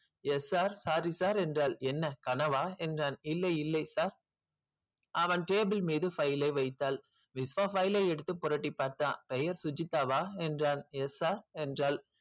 yes sir sorry sir என்றாள் என்ன கனவா என்றான் இல்லை இல்லை sir அவன் table மீது file ஐ வைத்தாள் விஸ்வா file ஐ எடுத்து புரட்டிப் பார்த்தா பெயர் சுஜிதாவா என்றான் yes sir என்றாள்